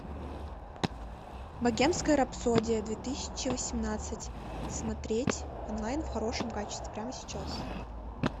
богемская рапсодия две тысячи восемнадцать смотреть онлайн в хорошем качестве прямо сейчас